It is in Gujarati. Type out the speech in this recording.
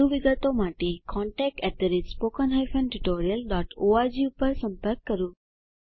વધુ વિગતો માટે contactspoken tutorialorg પર સંપર્ક કરો